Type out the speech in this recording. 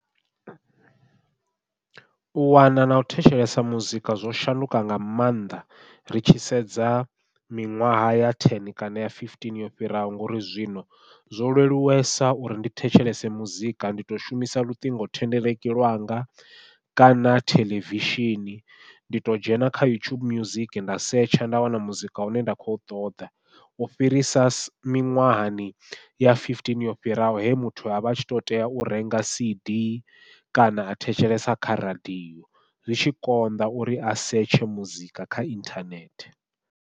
U wana nau thetshelesa muzika zwo shanduka nga maanḓa ri tshi sedza miṅwaha ya ten kana ya fifteen yo fhiraho, ngauri zwino zwo leluwesa uri ndi thetshelese muzika ndi to shumisa luṱingo thendeleki lwanga kana theḽevishini. Ndi to dzhena kha youtube music nda setsha nda wana muzika une nda khou ṱoḓa u fhirisa miṅwahani ya fifteen yo fhiraho he muthu avha a tshi to tea u renga cd kana a thetshelesa kha radiyo zwi tshi konḓa uri a setsha muzika kha inthanethe.